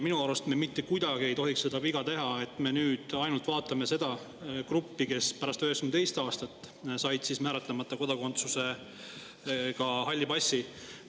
Minu arust me mitte kuidagi ei tohiks teha seda viga, et me nüüd ainult vaatame seda gruppi, kes pärast 1992. aastat sai määratlemata kodakondsuse alusel halli passi.